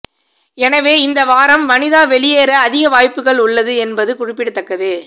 எனவே இந்த வாரம் வனிதா வெளியேற அதிக வாய்ப்புகள் உள்ளது என்பது குறிப்பிடத்தக்கது